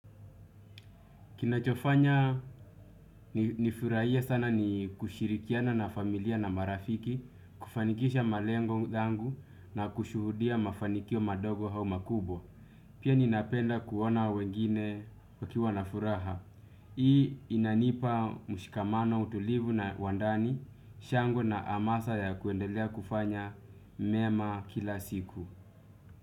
Kinachofanya nifurahie sana ni kushirikiana na familia na marafiki, kufanikisha malengo zangu na kushuhudia mafanikio madogo hau makubwa. Pia ninapenda kuona wengine wakiwa na furaha. Hii inanipa mshikamano, utulivu na wandani, shango na amasa ya kuendelea kufanya mema kila siku.